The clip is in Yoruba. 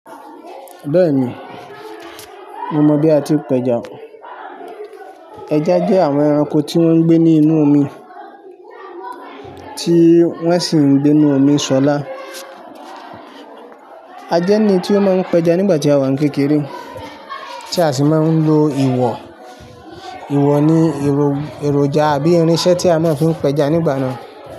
Béèni mo mọ bi a ti pẹja. Ẹja jẹ àwon ẹranko ti won gbé ní inú omi, ti wọn si n gbé ní inú omi ṣọlá. A jẹ ní tí o máa n pẹja nígbà tí a wà ní kékeré, tí a sì máa n lo ìwọ̀. Iwọ ni èròjà àbí irinsẹ́ tí a máa ń fi pẹja nígbà náà.